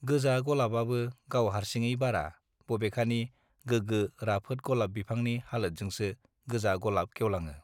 गोजा गलाबआबो गाव हारसिङै बारा बेबेखानि गोगो राफोद गलाप बिफांनि हालोदजोंसो गोजा गलाप गेवलाङो